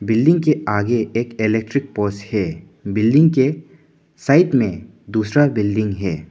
Building के आगे एक इलेक्ट्रिक पोस्ट है बिल्डिंग के साइड में दूसरा बिल्डिंग है।